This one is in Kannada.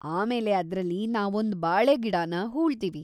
ಆಮೇಲೆ ಅದ್ರಲ್ಲಿ ನಾವೊಂದ್ ಬಾಳೆಗಿಡನ ಹೂಳ್ತೀವಿ.